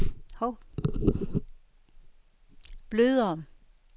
blødere